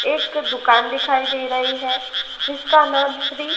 एक दुकान दिखाई दे रही है जिसका नाम श्री--